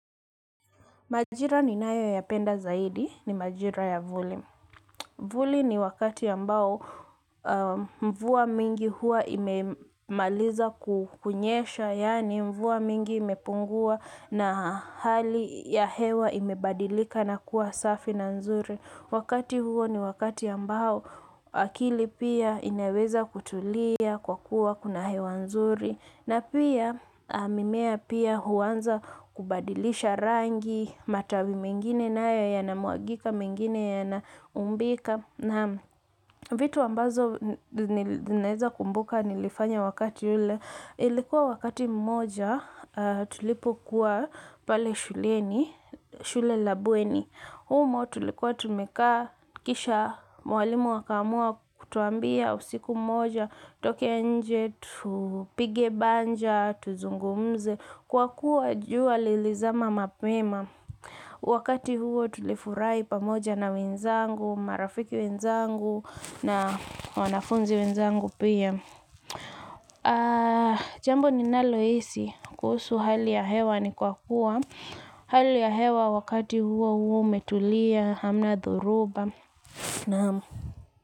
Majira ninayo yapenda zaidi, ni majira ya vuli. Vuli ni wakati ambao mvua mingi hua imemaliza kunyesha, yaani mvua mingi imepungua na hali ya hewa ime badilika na kuwa safi na nzuri. Wakati huo ni wakati ambao akili pia inaweza kutulia kwa kuwa kuna hewa nzuri na pia mimea pia huanza kubadilisha rangi matawi mengine nayo yanamwagika mengine yanaumbika naam vitu ambazo naweza kumbuka nilifanya wakati ule. Ilikuwa wakati mmoja tulipo kuwa pale shuleni, shule la bweni. Humo tulikuwa tumekaa kisha mwalimu akaamua kutuambia usiku mmoja, tutoke nje, tupige banja, tuzungumze. Kwa kuwa jua lilizama mapema. Wakati huo tulifurahi pamoja na wenzangu, marafiki wenzangu na wanafunzi wenzangu pia. Jambo ninalohisi kuhusu hali ya hewa ni kwa kuwa hali ya hewa wakati huo huwa umetulia hamna dhoruba.